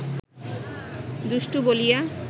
দুষ্টু বলিয়া